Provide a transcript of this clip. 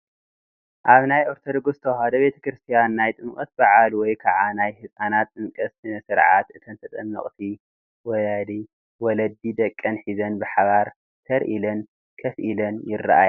ኣብ ናይ ኦርቶዶክስ ተዋህዶ ቤተ ክርስትያን ናይ ጥምቀት በዓል ወይ ከዓ ናይ ህፃናት ጥምቀት ስነ ስርዓት እተን ተጠመቕቲ ወለዲ ደቀን ሒዘን ብሓባር ተር ኢለን ከፍ ኢለን ይራኣያ፡፡